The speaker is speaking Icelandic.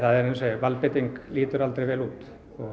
valdbeiting lítur aldrei vel út